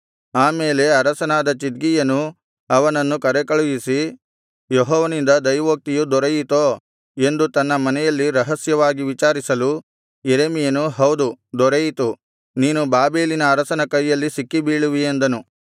ಆಮೇಲೆ ಅರಸನಾದ ಚಿದ್ಕೀಯನು ಅವನನ್ನು ಕರೆಕಳುಹಿಸಿ ಯೆಹೋವನಿಂದ ದೈವೋಕ್ತಿಯು ದೊರೆಯಿತೋ ಎಂದು ತನ್ನ ಮನೆಯಲ್ಲಿ ರಹಸ್ಯವಾಗಿ ವಿಚಾರಿಸಲು ಯೆರೆಮೀಯನು ಹೌದು ದೊರೆಯಿತು ನೀನು ಬಾಬೆಲಿನ ಅರಸನ ಕೈಯಲ್ಲಿ ಸಿಕ್ಕಿಬೀಳುವಿ ಅಂದನು